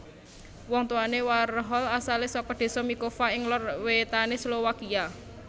Wong tuwané Warhol asalé saka désa Mikova ing lor wétané Slowakia